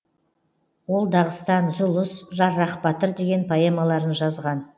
ол дағыстан зұлыс жаррах батыр деген поэмаларын жазған